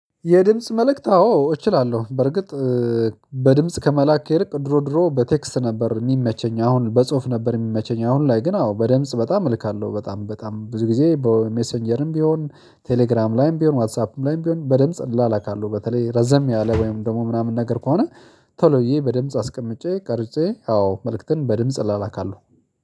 የድምጽ መልክት አዎ እችላለሁ። በርግጥ በድምጽ ከመላክ ይልቅ ድሮ ድሮ በቴክስት ነበር የሚመቸኝ፣ አሁን በጽሁፍ ነበር የሚመቸኝ። አሁን ላይ ግን አዎ በድምጽ በጣም እልካለሁ፤ በጣም በጣም ብዙ ጊዜ በሜሴንጀርም ቢሆን፣ ቴሌግራም ላይም ቢሆን፣ ዋትስአፕም ላይም ቢሆን በድምጽ እላላካለሁ። በተለይ ረዘም ያለ ወይም ደግሞ ምናምን ነገር ከሆነ ቶሎ ብዬ በድምጽ አስቀምጬ ቀርጬ አዎ መልክትን በድምጽ እላላካለሁ።